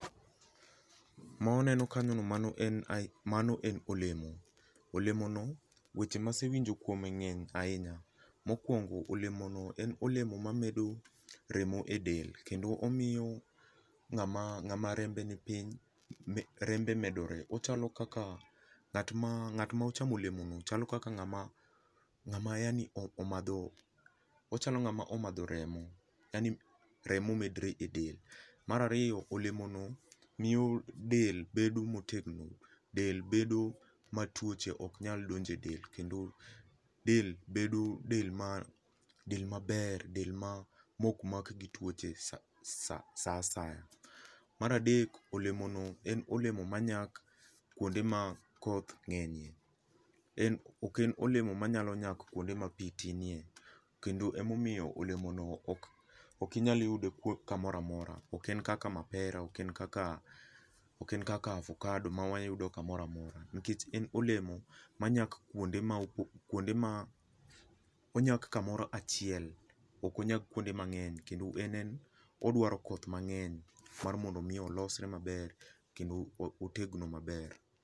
Ma waneno kanyo no mano en olemo, olemono weche masewinjo kuome ng'eny ahinya, mokuongo olemono en olemo mamedo remo e del kendo omiyo ng'ama rembe ni piny, rembe medore, ochalo kaka ng'at ma, ngatma ochamo olemono chalo kaka ng'ama, ng'ama yani omadho, ochalo ngama omadho remo, yaani remo memdre e del. Mar ariyo olemo no miyo del bedo motegno, del bedo ma tuoche ok nyal donjo e del kendo del bedo del ma, del maber, del maok mak gi tuoche saa asaya. Mar adek olemono en olemo manyak kuonde ma koth ngenye, en, oken olemo manyalo nyak kuonde ma pii tinie kendo ema omiyo olemono ok inyal yudo kamoro amora, oken kaka mapera, oken kaka ovakado ma wayudo kamoro amora nikech en olemo ma nyak, kuonde ma, kuonde ma, onyak kamoro achiel ok onyak kuonde mangeny kendo en en odwaro koth mangeny mar mondo mi olosre maber kendo otegno maber.